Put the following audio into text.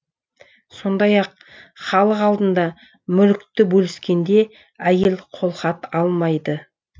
сондай ақ халық алдында мүлікті бөліскенде әйел қолхат алмайды